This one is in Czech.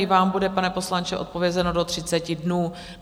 I vám bude, pane poslanče, odpovězeno do 30 dnů.